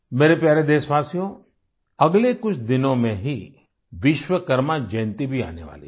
मेरे प्यारे देशवासियो अगले कुछ दिनों में ही विश्वकर्मा जयंती भी आने वाली है